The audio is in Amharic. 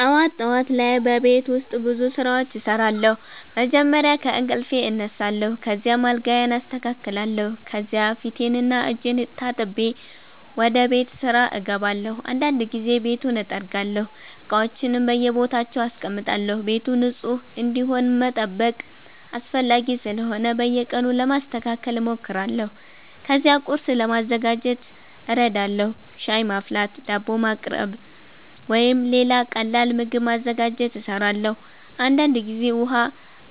ጠዋት ጠዋት ላይ በቤት ውስጥ ብዙ ስራዎች እሰራለሁ። መጀመሪያ ከእንቅልፌ እነሳለሁ፣ ከዚያም አልጋዬን አስተካክላለሁ። ከዚያ ፊቴንና እጄን ታጥቤ ወደ ቤት ስራ እገባለሁ። አንዳንድ ጊዜ ቤቱን እጠርጋለሁ፣ እቃዎችንም በየቦታቸው አስቀምጣለሁ። ቤቱ ንጹህ እንዲሆን መጠበቅ አስፈላጊ ስለሆነ በየቀኑ ለማስተካከል እሞክራለሁ። ከዚያ ቁርስ ለማዘጋጀት እረዳለሁ። ሻይ ማፍላት፣ ዳቦ ማቅረብ ወይም ሌላ ቀላል ምግብ ማዘጋጀት እሰራለሁ። አንዳንድ ጊዜ ውሃ